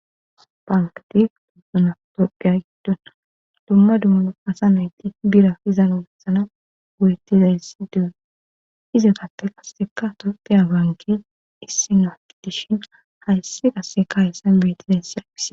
Bankati tusona dopiya giddona dumma dumuno asa nayti bira izanogessana wuyettiza issi dee izaqapte qasseka topteya banke issinaaki dishin hayssi qasse ka hessan beetizayssi aqise.